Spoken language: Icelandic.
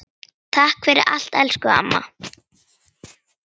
Takk fyrir allt, elsku amma.